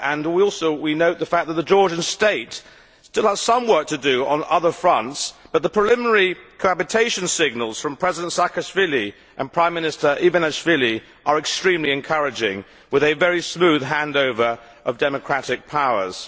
While we note the fact that the Georgian state still has some work to do on other fronts, the preliminary cohabitation signals from President Saakashvili and Prime Minister Ivanishvili are extremely encouraging, with a very smooth handover of democratic powers.